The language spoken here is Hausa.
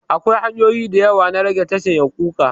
Akwai hanyoyi da yawa na rage tashin yaƙuka.